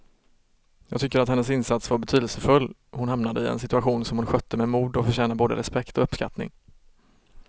Jag tycker att hennes insats var betydelsefull, hon hamnade i en situation som hon skötte med mod och förtjänar både respekt och uppskattning.